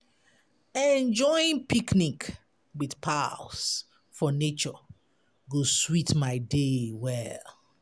Enjoying picnic with pals for nature go sweet my day well.